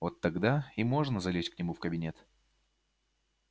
вот тогда и можно залезть к нему в кабинет